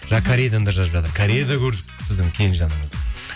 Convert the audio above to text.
жаңа кореядан да жазып жатыр корея да көрді сіздің келінжаныңызды